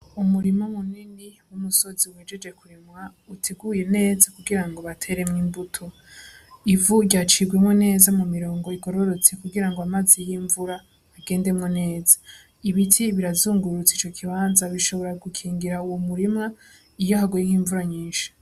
Umurima munini w'umusozi uhejeje kurimwa, uteguye neza kugira ngo bateremwo imbuto ivu ryacibwemwo neza mu mirongo igororotse kugira ngo amazi y'imvura agendemwo neza ibiti birazungurutse ico kibanza bishobora gukingira uwo murima iyo haguye nk'imvura nyinshi.